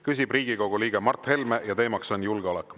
Küsib Riigikogu liige Mart Helme ja teemaks on julgeolek.